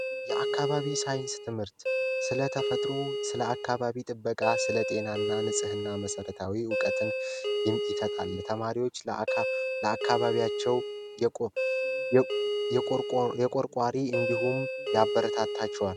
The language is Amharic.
የአካባቢ ሳይንስ ትምህርት ስለተፈጥሮ ስለ አካባቢ ጥበቃ ስለጤና እና ንጽህና መሰረታዊ እውቀትን ተማሪዎች ለአካባቢያቸው የቆረቆርቋሪ እንዲሁም ያበረታታቸዋል